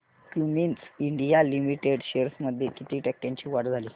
Cummins India limited shares मध्ये किती टक्क्यांची वाढ झाली